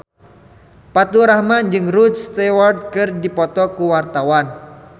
Faturrahman jeung Rod Stewart keur dipoto ku wartawan